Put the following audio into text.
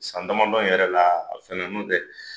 San damadɔ in yɛrɛ la a fana dun te